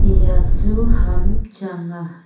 eya chu ham chang a.